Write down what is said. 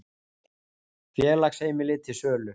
Félagsheimili til sölu